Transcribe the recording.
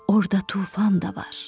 orda tufan da var,